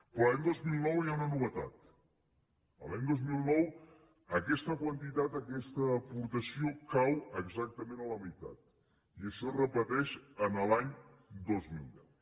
però l’any dos mil nou hi ha una novetat l’any dos mil nou aquesta quantitat aquesta aportació cau exactament a la meitat i això es repeteix l’any dos mil deu